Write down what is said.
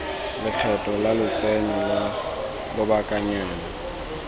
lekgetho la lotseno lwa lobakanyana